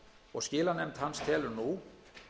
og skilanefnd hans telur nú